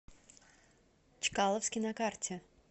чкаловский на карте